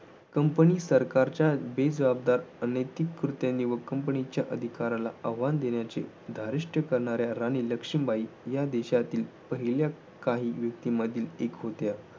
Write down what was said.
Company सरकारच्या बेजबाबदार अनैतिक कृत्यांनी व कंपनीच्या अधिकाराला आवाहन दिल्याचे धारिष्ट्य करणाऱ्या राणी लक्ष्मीबाई या देशातील पहिल्या काही व्यक्तीमधील एक होत्या.